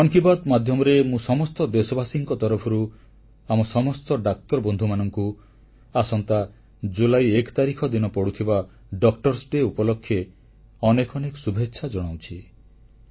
ମନ୍ କି ବାତ୍ ମାଧ୍ୟମରେ ମୁଁ ସମସ୍ତ ଦେଶବାସୀଙ୍କ ତରଫରୁ ଆମ ସମସ୍ତ ଡାକ୍ତର ବନ୍ଧୁମାନଙ୍କୁ ଆସନ୍ତା ଜୁଲାଇ 1 ତାରିଖ ଦିନ ପଡୁଥିବା ଡାକ୍ତର ଦିବସ ଉପଲକ୍ଷେ ଅନେକ ଅନେକ ଶୁଭେଚ୍ଛା ଜଣାଉଛି